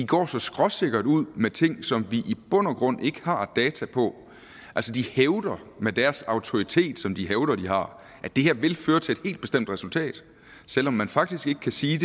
går så skråsikker ud med ting som vi i bund og grund ikke har data på altså de hævder med deres autoritet som de hævder at de har at det her vil føre til bestemt resultat selv om man faktisk ikke kan sige